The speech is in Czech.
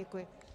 Děkuji.